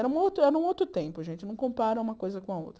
Era um outro era um outro tempo, a gente não compara uma coisa com a outra.